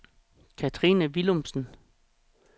Cathrine Willumsen